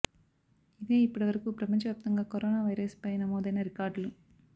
ఇదే ఇప్పటి వరకు ప్రపంచ వ్యాప్తంగా కరోనా వైరస్ పై నమోదైన రికార్డులు